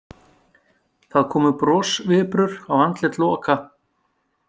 Það komu brosviprur á andlit Loka.